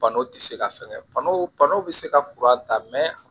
Bana tɛ se ka fɛnkɛ banaw banaw be se ka ta